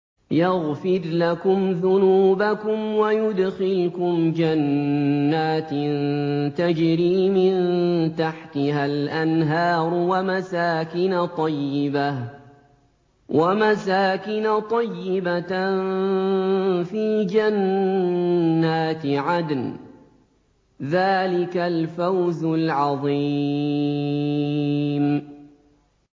يَغْفِرْ لَكُمْ ذُنُوبَكُمْ وَيُدْخِلْكُمْ جَنَّاتٍ تَجْرِي مِن تَحْتِهَا الْأَنْهَارُ وَمَسَاكِنَ طَيِّبَةً فِي جَنَّاتِ عَدْنٍ ۚ ذَٰلِكَ الْفَوْزُ الْعَظِيمُ